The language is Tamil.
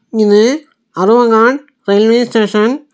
இது அரவங்காட் ரயில்வே ஸ்டேஷன் .